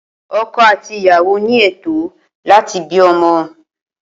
Oko àti ìyàwó ní ètó láti bí ọmọ